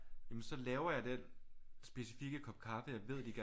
Jamen så laver jeg den specifikke kop kaffe jeg ved de gerne